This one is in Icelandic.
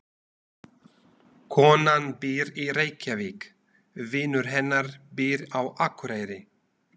Konan býr í Reykjavík. Vinur hennar býr á Akureyri.